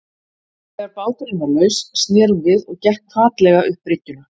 Þegar báturinn var laus sneri hún við og gekk hvatlega upp bryggjuna.